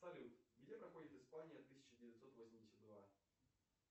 салют где проходит испания тысяча девятьсот восемьдесят два